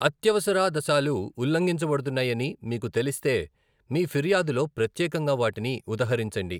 అత్యవసరాదశాలు ఉల్లంఘించబడుతున్నాయని మీకు తెలిస్తే, మీ ఫిర్యాదులో ప్రత్యేకంగా వాటిని ఉదహరించండి.